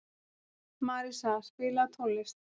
Marísa, spilaðu tónlist.